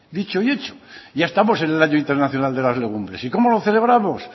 dicho y hecho ya estamos en el año internacional de las legumbres y cómo lo celebramos